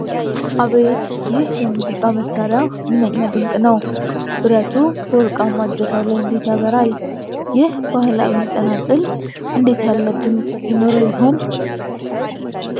አቤት! ይህ የሙዚቃ መሣሪያ ምንኛ ድንቅ ነው! ብረቱ በወርቃማ እጀታው ላይ እንዴት ያበራል! ይህ ባህላዊ ጸናጽል እንዴት ያለ ድምፅ ይኖረው ይሆን!